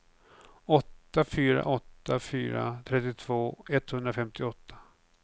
åtta fyra åtta fyra trettiotvå etthundrafemtioåtta